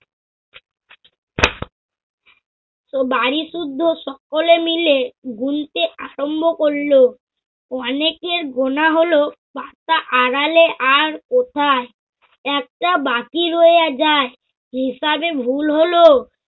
বাড়িসুদ্ধ সকলে মিলে গুনতে আরম্ভ করল। অনেকের গোনা হল, পাতা আড়ালে আর কোথায়? একটা বাকি রইয়া যায়। হিসাবে ভুল হল